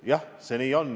Jah, nii see on.